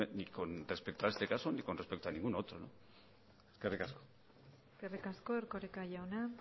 ni con respecto a este caso ni con respecto a ningún otro eskerrik asko eskerrik asko erkoreka jauna